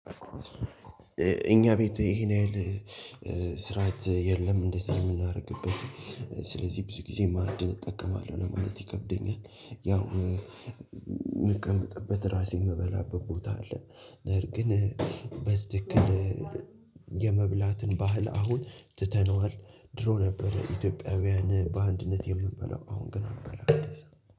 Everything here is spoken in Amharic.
እኛ ቤት ይሄን ያህል ስርዓት የለም እንደዚህ አይነት እምናደርግበት። ስለዚህ ብዙ ጊዜ ማዕድን እጠቀማለሁ ለማለት ይከብደኛል። ያው የምቀመጥበት ራሴን የምበላበት ቦታ አለ። ነገር ግን በትክክል የመብላትን ባህል አሁን ትተነዋል። ድሮ ነበረ ኢትዮጵያውያን በአንድነት የምበላው አሁን ግን አልበላም።